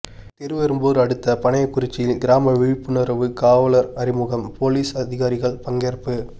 திருவெறும்பூர் அடுத்த பனையகுறிச்சியில் கிராம விழிப்புணர்வு காவலர் அறிமுகம் போலீஸ் அதிகாரிகள் பங்கேற்பு